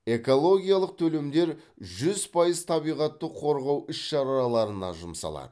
экологиялық төлемдер жүз пайыз табиғатты қорғау іс шараларына жұмсалады